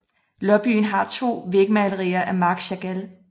Lobbyen har to vægmalerier af Marc Chagall